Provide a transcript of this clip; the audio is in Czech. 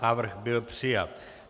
Návrh byl přijat.